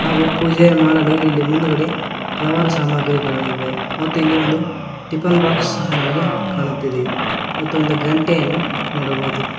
ಹಾಗೂ ಪೂಜೆ ಮಾಡಲು ಇಲ್ಲಿ ಮುಂದುಗಡೆ ಹಲವಾರು ಸಾಮಗ್ರಿಗಳಿವೆ ಮತ್ತು ಇಲ್ಲಿ ಒಂದು ಟಿಫನ್ ಬಾಕ್ಸ್ ನಮಗೆ ಕಾಣುತ್ತಿದೆ ಮತ್ತು ಒಂದು ಗಂಟೆ ನೋಡಬಹುದು.